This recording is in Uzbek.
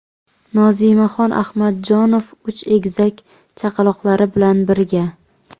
Nozimaxon Ahmadjonov uch egizak chaqaloqlari bilan birga.